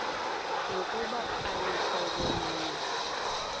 nokuba aluhlobo lunye